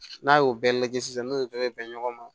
N'a y'o bɛɛ lajɛ sisan n'o ye dɔ be bɛn ɲɔgɔn ma